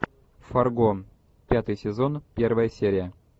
фарго пятый сезон первая серия